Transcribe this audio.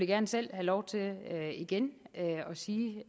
gerne selv have lov til igen at sige